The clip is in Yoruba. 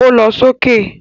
Ó lọ sókè